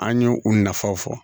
An ye u nafaw fɔ